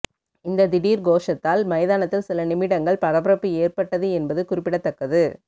இந்த திடீர் கோஷத்தால் மைதானத்தில் சில நிமிடங்கள் பரபரப்பு ஏற்பட்டது என்பது குறிப்பிடத்தக்கது